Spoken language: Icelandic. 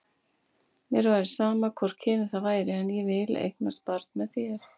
Mér væri sama hvort kynið það væri, en ég vil eignast barn með þér.